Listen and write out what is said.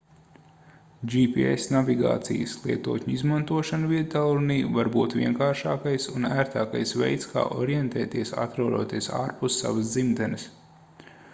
gps navigācijas lietotņu izmantošana viedtālrunī var būt vienkāršākais un ērtākais veids kā orientēties atrodoties ārpus savas dzimtenes